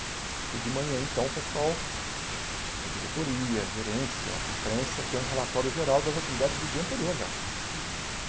E de manhã, então, o pessoal da diretoria, gerência, imprensa, tem um relatório geral das atividades do dia anterior já.